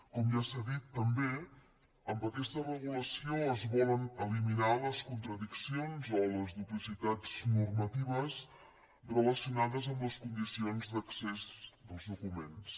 com ja s’ha dit també amb aquesta regulació es volen eliminar les contradiccions o les duplicitats normatives relacionades amb les condicions d’accés als documents